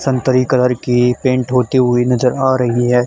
संतरी कलर की पेंट होती हुई नजर आ रही है।